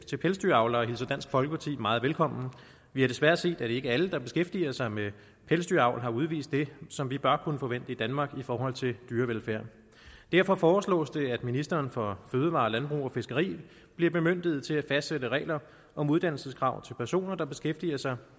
til pelsdyravlere hilser dansk folkeparti meget velkommen vi har desværre set at ikke alle der beskæftiger sig med pelsdyravl har udvist det som vi bare kunne forvente i danmark i forhold til dyrevelfærd derfor foreslås det at ministeren for fødevarer landbrug og fiskeri bliver bemyndiget til at fastsætte regler om uddannelseskrav til personer der beskæftiger sig